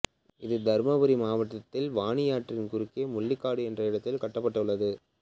இது தருமபுரி மாவட்டத்தில் வாணியாற்றின் குறுக்கே முள்ளிக்காடு என்ற இடத்தில் கட்டப்பட்டுள்ளது